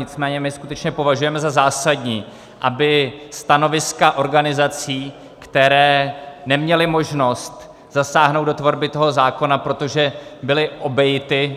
Nicméně my skutečně považujeme za zásadní, aby stanoviska organizací, které neměly možnost zasáhnout do tvorby toho zákona, protože byly obejity,